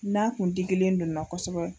N'a kun didilen don n na kosɛbɛ.